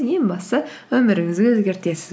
ең бастысы өміріңізді өзгертесіз